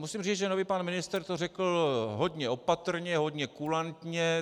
Musím říct, že nový pan ministr to řekl hodně opatrně, hodně kulantně.